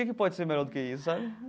Quem que pode ser melhor do que isso sabe?